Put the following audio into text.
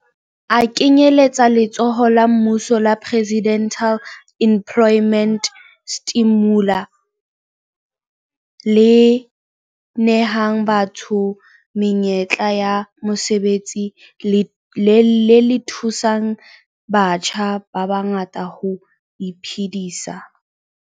A kenyeletsa letsholo la mmuso la Presidential Employment Stimulus le nehang batho menyetla ya mosebetsi le le thusang batjha ba bangata ho iphedisa.